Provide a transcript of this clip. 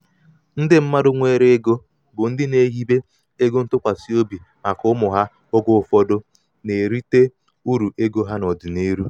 ndị mmadụ nwere ego bụ ndị na-ehibe ego ntụkwasị obi maka ụmụ ha oge ụfọdụ na-erite ụfọdụ na-erite uru ego ha n'ọdịniihu.